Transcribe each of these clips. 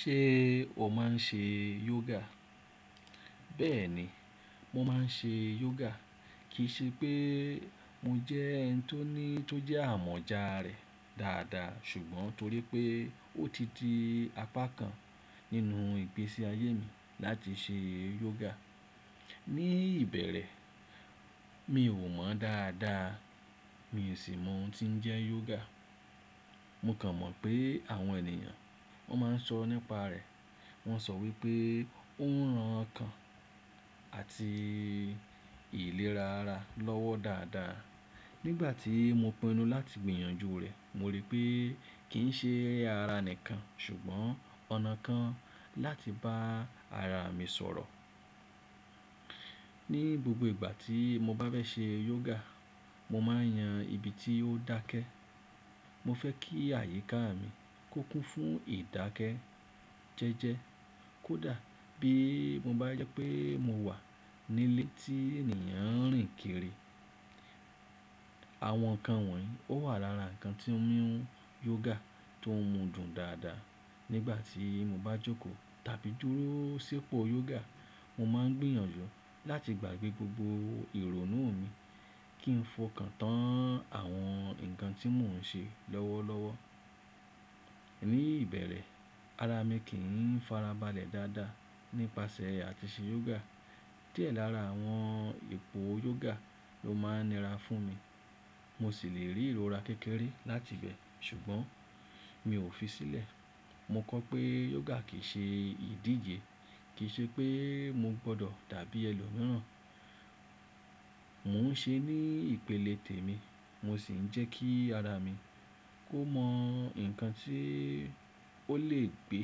Ṣé o máa ń ṣe yoga? Bẹ́ẹ̀ni, mo máa ń ṣe yoga. Kì í ṣe pé mo jẹ́ ẹni tó ní tó jẹ́ amọ̀jà rẹ̀ dáadáa ṣùgbọ́n torípé ó ti di apá kan nínú ìgbésí ayé mi láti ṣe yoga. Ní ìbẹ̀rẹ̀ mi ò mọ̀ dáadáa, mi ò sì mọ ohun tí ń jẹ́ yoga. Mo kàn mọ̀ pé àwọn ènìyàn wọ́n máa ń sọ nípa rẹ̀. Wọ́n sọ wípé ó ń ran ọkàn àti ìlera ara lọ́wọ́ dáadáa. Nígbà tí mo pinnu láti gbìyànjú rẹ̀ mo rí pé kì ń ṣe ara nìkan ṣùgbọ́n ọ̀nà kan láti bá ara mi sọ̀rọ̀. Ní gbogbo ìgbà tí mo bá bẹ́ ṣe yoga mo máa ń yan ibi tí ó dákẹ́. Mo fẹ́ kí àyíká mi kó kún fún ìdákẹ́ jẹ́ẹ́jẹ́. Kódà bí mo bá jẹ́ pé mo wà nílé tí ènìyàn ń rìn kiri. Àwọn nǹkan wọ̀nyí ó wà lára nǹkan tí mo ń mú yoga tó mú dùn dáadáa. Nígbà tí mo bá jókòó tàbí dúró sípò yoga mo máa ń gbìyànjú láti gbàgbé gbogbo ìrònú mi kí ń fọkàn tán àwọn nǹkan tí mò ń ṣe lọ́wọ́lọ́wọ́. Ní ìbẹ̀rẹ̀ ara mi kì í farabalẹ̀ dáadáa nípasẹ̀ àti ṣe yoga. Diẹ lára àwọn èpò yoga ló máa ń nira fún mi. Mo sì lè rí ìrora kékeré láti ibẹ̀ ṣùgbọ́n mi ò fi sílẹ̀. Mo kọ̀ pé yoga kì í ṣe ìdíje, kì í ṣe pé mo gbọdọ̀ dàbí ẹlòmíràn. Mò ń ṣe ní ìpele tèmi mo sì ń jẹ́ kí ara mi kó mọ nǹkan tí ó lè gbé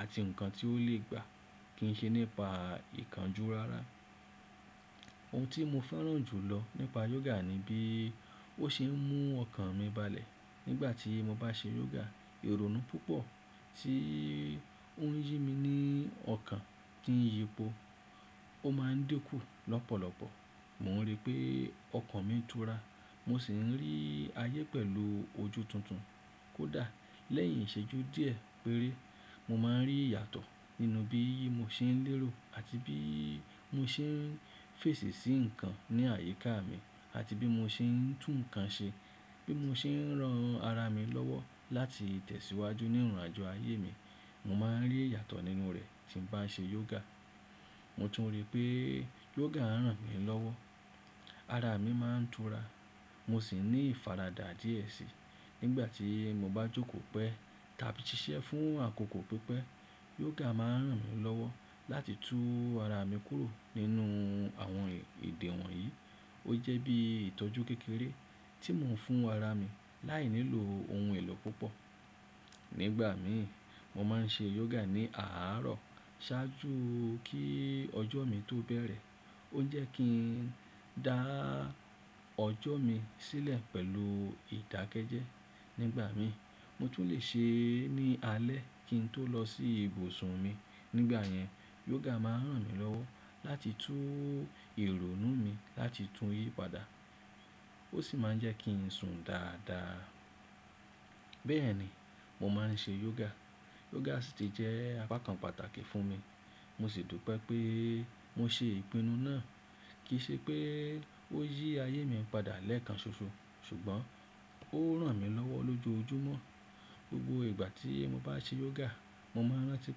àti nǹkan tí ó lè gbà. Kì í ṣe nípa ìkánjú rara. Ohun tí mo fẹ́ràn jùlọ nípa yoga ni bí ó ṣe ń mú ọkàn mi balẹ̀ nígbà tí mo bá ṣe yoga. Ìrònú púpọ̀ tí ó ń yí mi ní ọkàn kí ń yípo ó máa ń dínkù lọ́pọ̀lọpọ̀. Mò ń rí pé ọkàn mi tura mo sì ń rí ayé pẹ̀lú ojú tuntun. Kódà lẹ́yìn ìṣẹ́jú díẹ̀ péré mo máa ń rí ìyàtọ̀ nínú bí mo ṣe ń lérò àti bí mo ṣe ń fèsì sí nǹkan ní àyíká mi àti bí mo ṣe ń tún nǹkan ṣe. Bí mo ṣe ń ran ara mi lọ́wọ́ láti tẹ̀síwájú ní ìrìnàjò ayé mi mo máa ń rí ìyàtọ̀ nínú rẹ̀ tí ń bá ṣe yoga. Mo tún rí pé yoga ń ràn mí lọ́wọ́. Ara mi máa ń tura mo sì ní ìfaradà díẹ̀ síi nígbà tí mo bá jókòó pẹ́ tàbí ṣiṣẹ́ fún àkókò pípẹ́. Yoga máa ń ràn mí lọ́wọ́ láti tú ara mi kúrò nínú àwọn èdè wọ̀nyí. Ó jẹ́ bí ìtọ́jú kékeré tí mò ń fún ara mi láìnílò ohun èlò púpọ̀. Nígbà mi mo máa ń ṣe yoga ní àárọ̀ ṣáájú kí ọjọ́ mi tó bẹ̀rẹ̀. Ó jẹ́ kí n dá ọjọ́ mi sílẹ̀ pẹ̀lú ìdákẹ́jẹ́. Nígbà mi mo tún lè ṣe é ní alẹ́ kí n tó lọ sí ibùsùn mi. Nígbà yẹn yoga máa ń ràn mí lọ́wọ́ láti tú ìrònú mi láti tú yí padà. Ó sì máa ń jẹ́ kí n sùn dáadáa. Bẹ́ẹ̀ni, mo máa ń ṣe yoga. Yoga sì ti jẹ́ apá kan pàtàkì fún mi. Mo sì dùpe pé mo ṣe ìpinnu náà. Kì í ṣe pé ó yí ayé mi padà lẹ́ẹ̀kan ṣoṣo ṣùgbọ́n ó ń ràn mí lọ́wọ́ lójoojúmọ́. Gbogbo ìgbà tí mo bá ṣe yoga mo máa ń rántí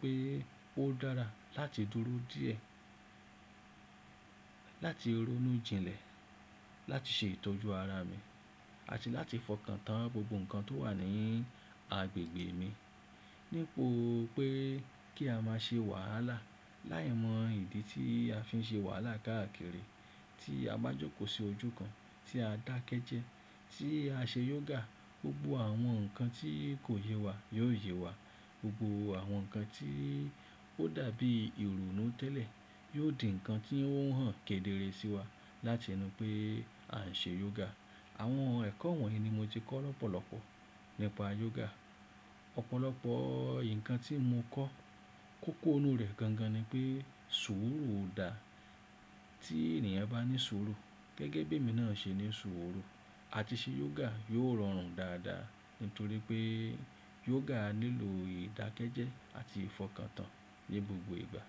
pé ó dára láti dúró díẹ̀, láti ronú jinlẹ̀, láti ṣe ìtọ́jú ara mi àti láti fọkàn tán gbogbo nǹkan tó wà ní agbègbè mi. Nípo pé kí a máa ṣe wàhálà láìmọ ìdí tí a fi ń ṣe wàhálà káàkiri, tí a bá jókòó sí ojú kan tí a dákẹ́ jẹ́ẹ́, tí a ṣe yoga gbogbo àwọn nǹkan tí kò yẹ wá yóò yẹ wá. Gbogbo àwọn nǹkan tí ó dàbí ìrònú tẹ́lẹ̀ yóò di nǹkan tí ó ń hàn kedere sí wa láti inú pé a ń ṣe yoga. Àwọn ẹ̀kọ́ wọ̀nyí ni mo ti kọ́ lọ́pọ̀lọpọ̀ nípa yoga. Ọ̀pọ̀lọpọ̀ nǹkan tí mo kọ́ kókó inú rẹ̀ gangan ni pé sùúrù ò dá. Tí ènìyàn bá ní sùúrù gẹ́gẹ́ bí èmi náà ṣe ní sùúrù àti ṣe yoga yóò rọrùn dáadáa nítorí pé yoga nílò ìdákẹ́jẹ́ àti ìfọkàn tán ní gbogbo ìgbà.